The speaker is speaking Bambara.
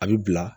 A bi bila